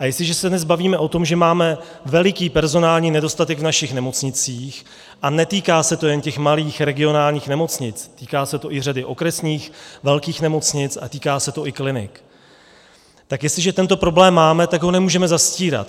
A jestliže se dnes bavíme o tom, že máme veliký personální nedostatek v našich nemocnicích, a netýká se to jen těch malých regionálních nemocnic, týká se to i řady okresních, velkých nemocnic a týká se to i klinik, tak jestliže tento problém máme, tak ho nemůžeme zastírat.